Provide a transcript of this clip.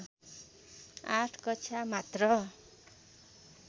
आठ कक्षा मात्र